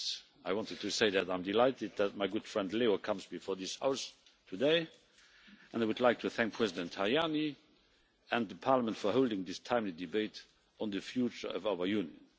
I wanted to say that I am delighted that my good friend Leo comes before this House today, and I would like to thank President Tajani and the Parliament for holding this timely debate on the future of our Union.